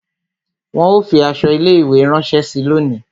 Wọn ó fi aṣọ ilé ìwé rẹ ránsẹ́ síi lónìí